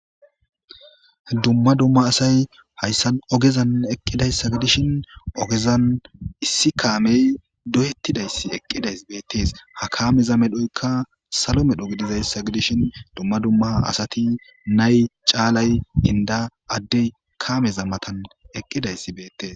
Dumma dumma asay hayssan ogezan eqqidayssa gidishin ogezan issi kaamey doyettidayssi eqqidays beettees ha kaameza medhoyka salo medho gidizayssa gidishin dumma dumma asati nay caalay inda addey kaameza matan eqqidayssi beettes